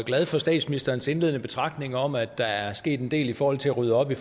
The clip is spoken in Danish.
glad for statsministerens indledende betragtninger om at der er sket en del i forhold til at rydde op i